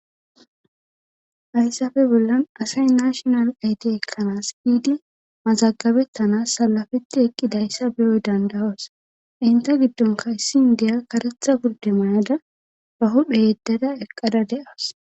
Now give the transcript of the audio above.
Hayssafe bollan asay nashonal ayti ekkanas hiidi mazagabettanas salafetti eqqidayssa beyoy dandawos inte giddonka issin deya karetha gurde mayada ba huphe yeddada eqqada de7as